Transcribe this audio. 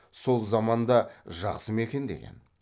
сол заман да жақсы ма екен деген